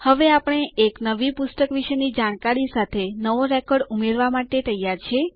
હવે આપણે એક નવી પુસ્તક વિશેની જાણકારી સાથે નવો રેકોર્ડ ઉમેરવા માટે તૈયાર છે